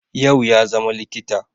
yau ya zama likita